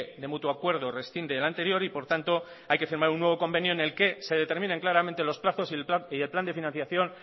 de mutuo acuerdo rescinde del anterior y por tanto hay que firma un nuevo convenio en el que se determinen claramente los plazos y el plan de financiación